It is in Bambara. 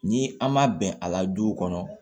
Ni an ma bɛn a la duw kɔnɔ